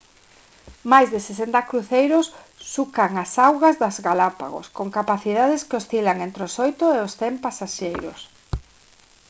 máis de 60 cruceiros sucan as augas das galápagos con capacidades que oscilan entre os 8 e os 100 pasaxeiros